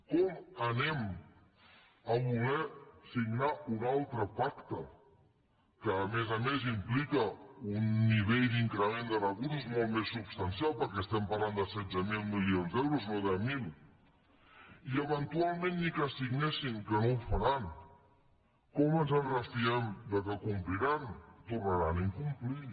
com volem signar un altre pacte que a més a més implica un nivell d’increment de recursos molt més substancial perquè parlem de setze mil milions d’euros no de mil i eventualment ni que signessin que no ho faran com ens en refiem que compliran tornaran a incomplir